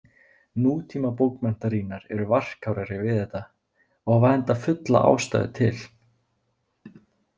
Nútímabókmenntarýnar eru varkárari við þetta og hafa enda fulla ástæðu til.